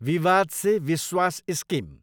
विवाद से विश्वास स्किम